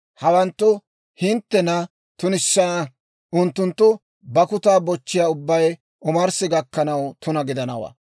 « ‹Hawanttu hinttena tunissana; unttunttu bakkutaa bochchiyaa ubbay omarssi gakkanaw tuna gidanawaa.